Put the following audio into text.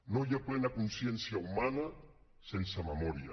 no hi ha plena consciència humana sense memòria